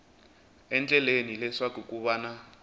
endlela leswaku ku va na